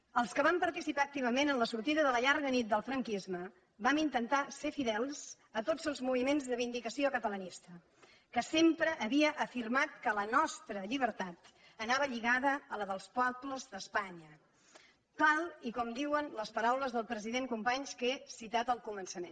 els que vam participar activament en la sortida de la llarga nit del franquisme vam intentar ser fidels a tots els moviments de vindicació catalanista que sempre havia afirmat que la nostra llibertat anava lligada a la dels pobles d’espanya tal com diuen les paraules del president companys que he citat al començament